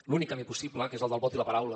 l’únic camí possible que és el del vot i la paraula